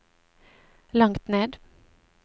langt ned